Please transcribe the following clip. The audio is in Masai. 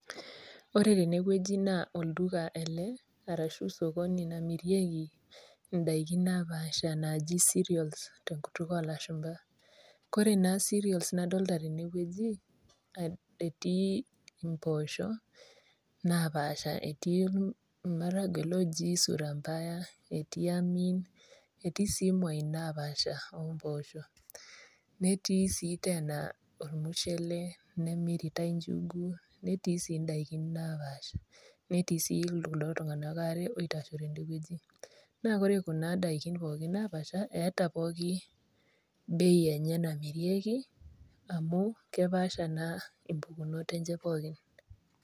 Ore tenewueji naa olduka ele arashu sokoni namirieki indaikin napaasha naaji cereals tenkutuk o ilashumba. Ore naa cereals nadolita teinewueji, etii impoosho napaasha, etii olmaragua oji sura mbaya etii Amin, etii sii imwain napaasha o impoosho, netii sii teena ormushele, nemiritai injugu, netii sii indaiki napaasha. Netii sii kuldo tung'ana waare oitashito tende wueji. Naa ore Kuna daiki pooki napaasha eata pooki bei enye namirieki, amu kepaasha naa impukunot enye pooki.